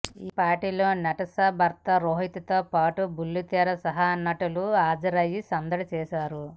ఈ పార్టీలో నటాషా భర్త రోహిత్ తో పాటు బుల్లితెర సహా నటీనటులు హాజరయ్యి సందడి చేశారు